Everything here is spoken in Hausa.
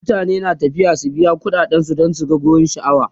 mutane na tafiya su biya ƙuɗade dan su gan wurin sha'awa